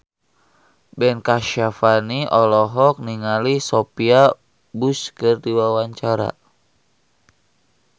Ben Kasyafani olohok ningali Sophia Bush keur diwawancara